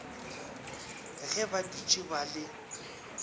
ge ba dutše ba le